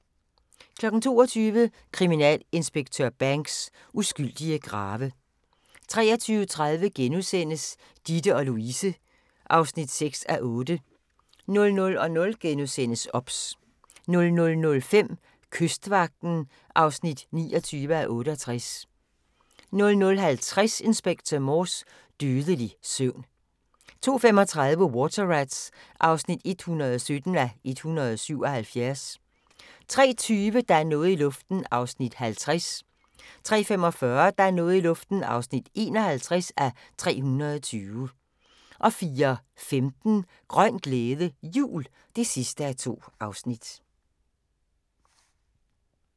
22:00: Kriminalinspektør Banks: Uskyldige grave 23:30: Ditte & Louise (6:8)* 00:00: OBS * 00:05: Kystvagten (29:68) 00:50: Inspector Morse: Dødelig søvn 02:35: Water Rats (117:177) 03:20: Der er noget i luften (50:320) 03:45: Der er noget i luften (51:320) 04:15: Grøn glæde, jul (2:2)